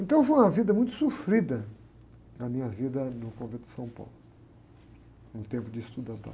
Então foi uma vida muito sofrida, a minha vida no Convento de São Paulo, um tempo de estudante lá.